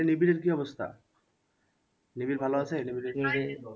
নিবিড়ের কি অবস্থা? নিবিড় ভালো আছে?